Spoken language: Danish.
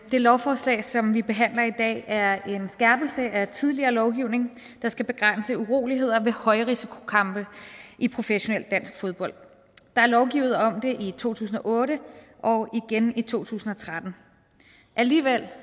det lovforslag som vi behandler i dag er en skærpelse af tidligere lovgivning der skal begrænse uroligheder ved højrisikokampe i professionel dansk fodbold der er lovgivet om det i to tusind og otte og igen i to tusind og tretten alligevel